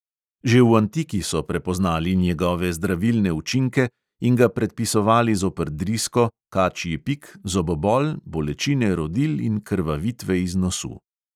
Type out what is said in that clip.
Že v antiki so prepoznali njegove zdravilne učinke in ga predpisovali zoper drisko, kačji pik, zobobol, bolečine rodil in krvavitve iz nosu.